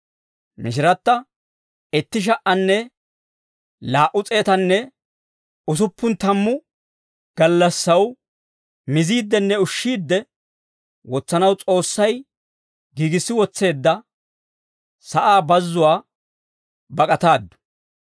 Mishiratta itti sha"anne laa"u s'eetanne usuppun tammu gallassaw miziiddenne ushshiidde wotsanaw S'oossay giigissi wotseedda sa'aa bazzuwaa bak'ataaddu.